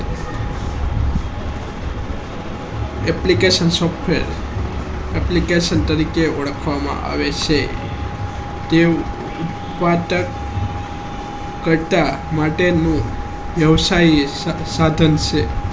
application software application તરીકે ને ઓળખવામાં આવે છે એ ઉપ્તાદક માટે નું કચ્છ વ્યવસાય માટે નું સાધન છે